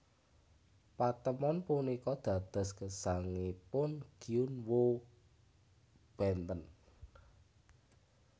Patemon punika dados gesangipun Gyun Woo benten